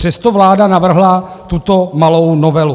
Přesto vláda navrhla tuto malou novelu.